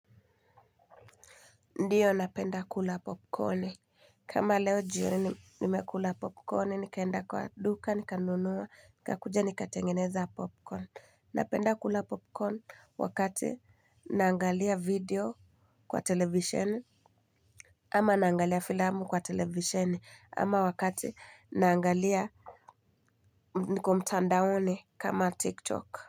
Ndiyo napenda kula popcorni kama leo jioni nimekula popcorni nikaenda kwa duka nikanunua nikakuja nikatengeneza popcorni napenda kula popcorn wakati naangalia video kwa televisheni ama naangalia filamu kwa televisheni ama wakati naangalia niko mtandaoni kama tiktok.